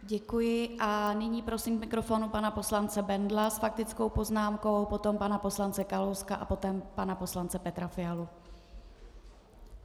Děkuji a nyní prosím k mikrofonu pana poslance Bendla s faktickou poznámkou, potom pana poslance Kalouska a poté pana poslance Petra Fialu.